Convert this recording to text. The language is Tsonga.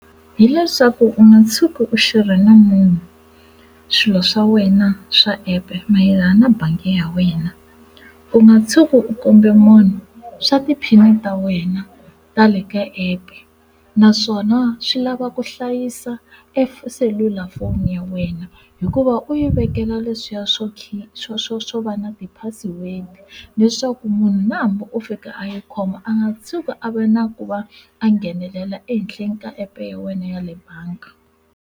Hileswaku u nga tshuki u share-ra na munhu swilo swa wena swa app mayelana na bangi ya wena u nga tshuki u kombe munhu swa ti pin ta wena tale ka app naswona swi lava ku hlayisa selulafoni ya wena hikuva u yi vekela leswiya swo khipha xo va na ti password leswaku munhu na hambi u fika a yi khoma a nga tshuki a va na ku va a nghenelela ehenhleni ka app ya wena ya le banga.